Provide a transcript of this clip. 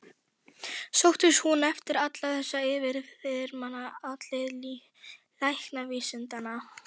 Sóttist hún eftir allri þessari yfirþyrmandi athygli læknavísindanna?